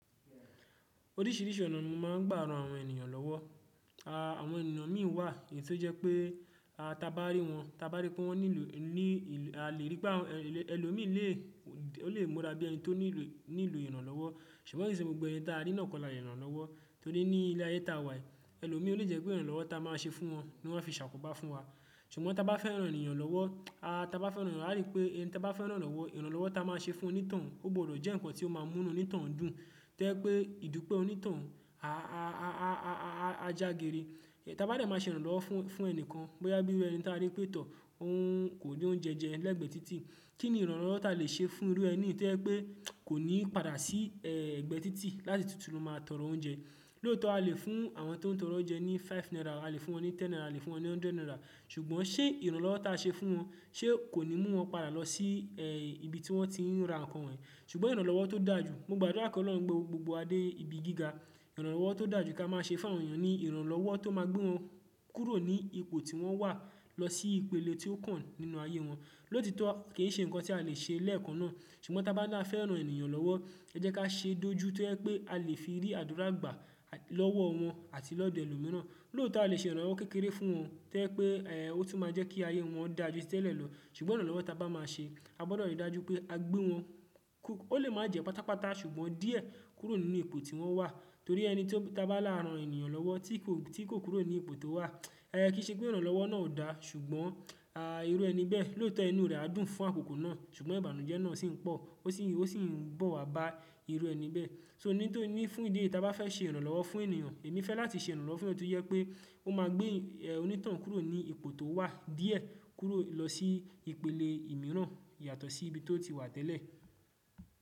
Oríṣiríṣi ọ̀nà ni mo máa ń gbá ra nàwọn ènìyàn lọ́wọ́. Àwọn ènìyàn mìíràn wà yí tó jẹ́ pé a ta bá rí wọn, ta bá rí pé wọ́n ní ìlò, a lè rí pé ẹlòmíràn lè, ó lè múra bí ẹni tó nílò ìrànlọ́wọ́. Ṣùgbọ́n ke ṣe gbogbo ẹni ta rí náà kọ́ la lè rànlọ́wọ́ torí ní ilé ayé ta wà yìí, ẹlòmíràn ò lè jẹ́ pé ìrànlọ́wọ́ ta máa ṣe fún wọn ni wọ́n a fi sàkóbá fún wa. Ṣùgbọ́n ta bá fẹ́ ran ènìyàn lọ́wọ́, a ta bá fẹ́ ran, a rí pé ẹni ta bá fẹ́ rànlọ́wọ́, ìrànlọ́wọ́ ta máa ṣe fún onítoun, ó gbọdọ̀ jẹ́ nǹkan tí ó máa múnú onítoun dùn tó jẹ́ pé ìdúpẹ́ onítoun a jágere. Ta bá dẹ̀ máa ṣe ìrànlọ́wọ́ fún ẹni kan, bóyá bí ẹni ta rí pé tó, òhun kò ní oúnjẹ jẹ lẹ́gbẹ̀ẹ́ títì, kí ni ìrànlọ́wọ́ ta lè ṣe fún irú ẹni tó jẹ́ pé kò ní padà sí ẹgbẹ́ títì láti tuntun máa tọrọ oúnjẹ. Lóòótọ́ a lè fún àwọn tó ń tọrọ oúnjẹ ní five naira, a lè fún wọn ní ten naira, a lè fún wọn ní hundred naira, ṣùgbọ́n ṣé ìrànlọ́wọ́ ta a ṣe fún wọn, ṣé kò ní mú wọn padà lọ sí ibi tí wọ́n ti ń ra nǹkan wọ̀nyí. Ṣùgbọ́n ìrànlọ́wọ́ tó dáa ju, mo gbàdúrà kí Ọlọ́run gbé gbogbo wa dé ibi gíga. Ìrànlọ́wọ́ tó dà ju kí a máa ṣe fún àwọn ènìyàn ni ìrànlọ́wọ́ tó máa gbé wọn kúrò ní ipò tí wọ́n wà lọ sí ìpele tí ó kàn nínú ayé wọn. Lótitọ́ kì í ṣe nǹkan tí a lè ṣe lẹ́ẹ̀kan náà, ṣùgbọ́n ta bá ni a fẹ́ ran ènìyàn lọ́wọ́, ẹ jẹ́ ká ṣe dójú tó jẹ pé a lè fi rí àdúrà gbà lọ́wọ́ wọn àti lọ́dọ̀ ẹlòmíràn. Lóòtọ́ a lè ṣe ìrànlọ́wọ́ kékeré fún wọn tó jẹ́ pé ó tún máa jẹ́ kí ayé wọn dà jù tẹ́lẹ̀ lọ, ṣùgbọ́n ìrànlọ́wọ́ ta bá máa ṣe, a gbọdọ̀ rí i dájú pé a gbé wọn, ó lè máa jẹ́ pátápátá ṣùgbọ́n díẹ̀ kúrò nínú ipò tí wọ́n wà. Torí ẹni tí ta bá lára ran ènìyàn lọ́wọ́ tí kò kúrò ní ipò tó wà, ẹẹ kí í ṣe pé ìrànlọ́wọ́ náà ò dá, ṣùgbọ́n irú ẹni bẹ́ẹ̀, lóòótọ́ inú rẹ̀ á dùn fún àkókò náà, ṣùgbọ́n ìbànújẹ́ náà sì ń pọ̀, ó sì ń bọ̀ wa bá irú ẹni bẹ́ẹ̀. So ní tó ní fún ìdí èyí, ta bá fẹ́ ṣe ìrànlọ́wọ́ fún ènìyàn, èmi fẹ́ láti ṣe ìrànlọ́wọ́ fún ẹni tó jẹ́ pé ó ma gbé onitoun kúrò ní ipò tí ó wà díẹ̀ kúrò lọsí ìpele mìíràn yàtọ̀ sí.